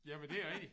Jamen det er rigtigt